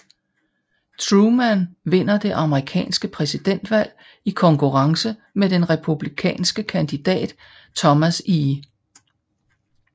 Truman vinder det amerikanske præsidentvalg i konkurrence med den republikanske kandidat Thomas E